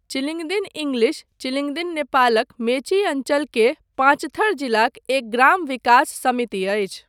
Chilingdin English Chilingdin नेपालक मेची अञ्चलके पाँचथर जिलाक एक ग्राम विकास समिति अछि।